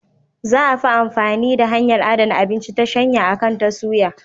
Za a fi amfani da hanyar adana abinci ta shanya akan ta suya.